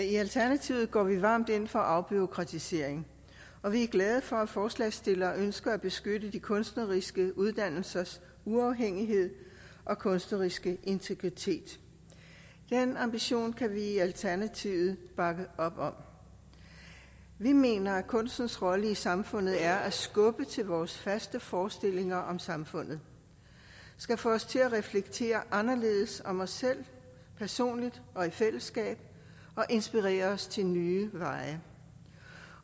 i alternativet går vi varmt ind for afbureaukratisering og vi er glade for at forslagsstillerne ønsker at beskytte de kunstneriske uddannelsers uafhængighed og kunstneriske integritet den ambition kan vi i alternativet bakke op om vi mener at kunstens rolle i samfundet er at skubbe til vores faste forestillinger om samfundet få os til at reflektere anderledes om os selv personligt og i fællesskab og inspirere os til nye veje